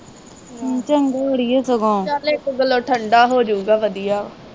ਹੂੰ। ਚੰਗਾ ਈ ਆ ਸਗੋਂ।